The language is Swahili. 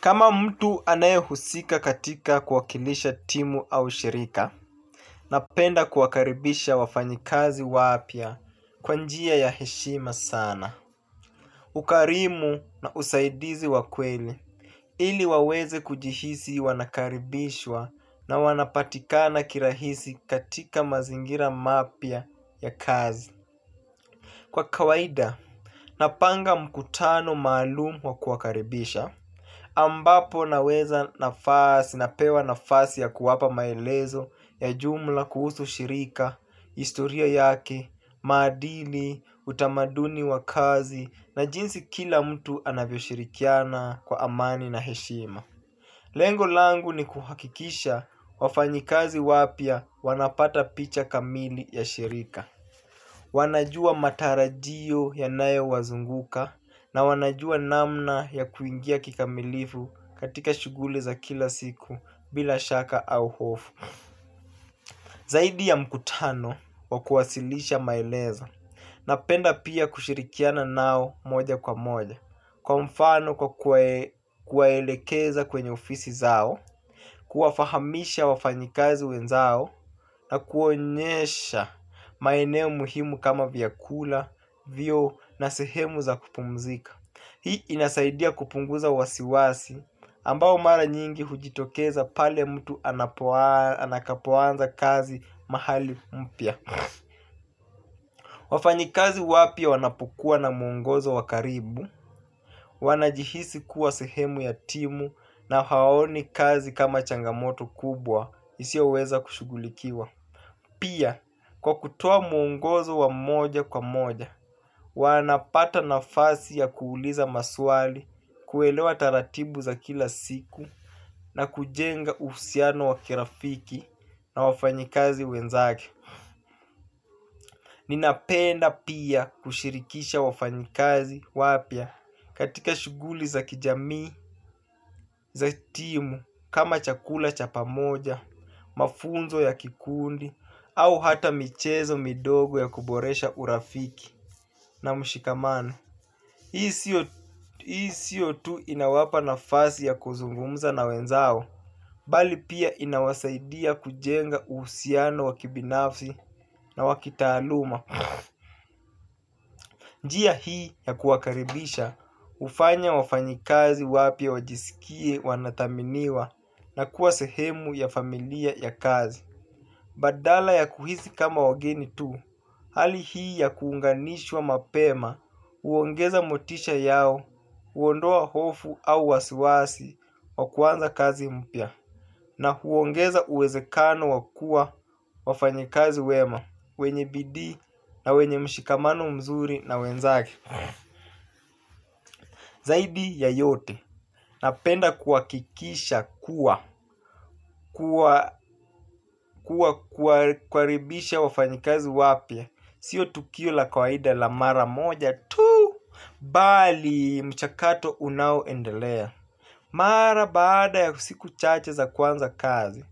Kama mtu anaehusika katika kuwakilisha timu au shirika. Napenda kuwakaribisha wafanyakazi wapya kwa njia ya heshima sana. Ukarimu na usaidizi wa kweli. Ili waweze kujihisi wanakaribishwa na wanapatikana kirahisi katika mazingira mapya ya kazi. Kwa kawaida, napanga mkutano maalumu wa kuwakaribisha ambapo nawapa nafasi ya kuwapa maelezo ya jumla kuhusu shirika historia yake, maadili, utamaduni wa kazi na jinsi kila mtu anavyoshirikiana kwa amani na heshima. Lengo langu ni kuhakikisha wafanyakazi wapya wanapata picha kamili ya shirika. Wanajua matarajio yanayowazunguka na wanajua namna ya kuingia kikamilifu katika shughuli za kila siku bila shaka au hofu. Zaidi ya mkutano wa kuwasilisha maelezo napenda pia kushirikiana nao moja kwa moja kwa mfano kwa kuwaelekeza kwenye ofisi zao kuwafahamisha wafanyakazi wenzao na kuwaonesha maeneo muhimu kama vyakula vyoo na sehemu za kupumzika. Hii inasaidia kupunguza wasiwasi ambao mara nyingi hujitokeza pale mtu anapoanza kazi mahali mpya. Wafanyakazi wapya wanapukua na mwongozo wa karibu. Wanajihisi kuwa sehemu ya timu na hawaoni kazi kama changamoto kubwa isiyoweza kushughulikiwa. Pia, kwa kutoa mwongozo wa moja kwa moja, wanapata nafasi ya kuuliza maswali, kuelewa taratibu za kila siku, na kujenga uhusiano wa kirafiki na wafanyakazi wenzake. Ninapenda pia kushirikisha wafanyakazi wapya katika shughuli za kijamii, za timu kama chakula cha pamoja, mafunzo ya kikundi, au hata michezo midogo ya kuboresha urafiki na mshikamano. Hii sio tu inawapa nafasi ya kuzungumza na wenzao, bali pia inawasaidia kujenga uhusiano wa kibinafsi na wa kitaaluma. Njia hii ya kuwakaribisha, hufanya wafanyakazi wapya wajisikie wanathaminiwa na kuwa sehemu ya familia ya kazi. Badala ya kuhisi kama wageni tu, hali hii ya kuunganishwa mapema, huongeza motisha yao, huondoa hofu au wasiwasi wa kuanza kazi mpya na huongeza uwezekano wakuwa wafanyakazi wema wenye bidii na wenye mshikamano mzuri na wenzake. Zaidi ya yote napenda kuhakikisha kuwa kuwa kuwakaribisha wafanyakazi wapya. Sio tukio la kawaida la mara moja tu bali ni mchakato unaoendelea. Mara baada ya siku chache za kuanza kazi